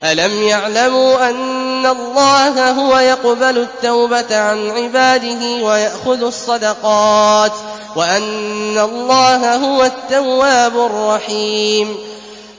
أَلَمْ يَعْلَمُوا أَنَّ اللَّهَ هُوَ يَقْبَلُ التَّوْبَةَ عَنْ عِبَادِهِ وَيَأْخُذُ الصَّدَقَاتِ وَأَنَّ اللَّهَ هُوَ التَّوَّابُ الرَّحِيمُ